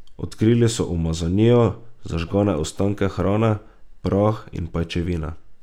Odkrili so umazanijo, zažgane ostanke hrane, prah in pajčevine.